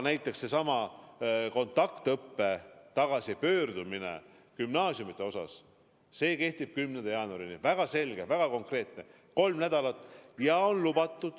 Näiteks seesama gümnaasiumide kontaktõppele tagasipöördumine toimub 11. jaanuaril – väga selge ja väga konkreetne piirang, kolm nädalat.